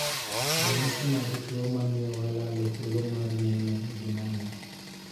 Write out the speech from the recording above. Ranyisi mag tuo mamio walalo thuolo mar neno gin ang'o?